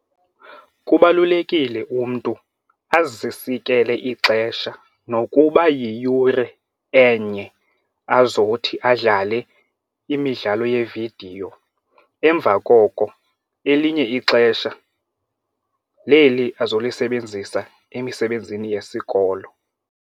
Kubalulekile umntu azisikele ixesha nokuba yiyure enye azothi adlale imidlalo yeevidiyo. Emva koko elinye ixesha leli azolisebenzisa emisebenzini yesikolo.